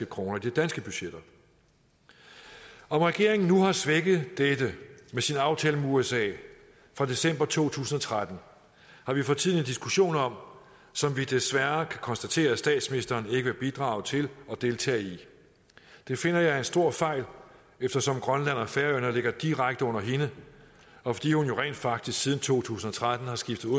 kroner i de danske budgetter om regeringen nu har svækket dette med sin aftale med usa fra december to tusind og tretten har vi for tiden en diskussion om som vi desværre kan konstatere at statsministeren ikke vil bidrage til at deltage i det finder jeg er en stor fejl eftersom grønland og færøerne ligger direkte under hende og fordi hun jo rent faktisk siden to tusind og tretten har skiftet